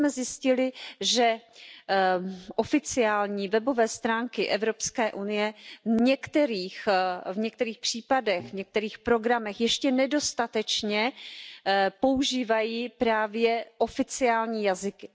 A my jsme zjistili, že oficiální webové stránky Evropské unie v některých případech, v některých programech ještě nedostatečně používají právě oficiální jazyky.